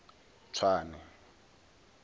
tswane